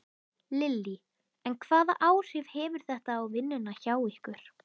Lillý: En hvaða áhrif hefur þetta á vinnuna hjá ykkur?